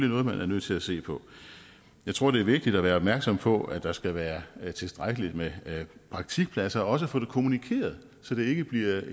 noget man er nødt til at se på jeg tror det er vigtigt at være opmærksom på at der skal være tilstrækkeligt med praktikpladser og også få det kommunikeret så det ikke bliver